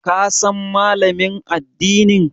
Ka san Malamin addinin?